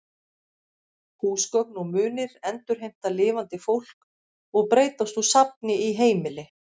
Húsgögn og munir endurheimta lifandi fólk og breytast úr safni í heimili.